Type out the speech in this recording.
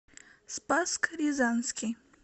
спасск рязанский